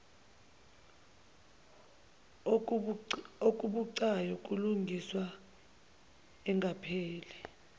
okubucayi kulungiswa engakapheli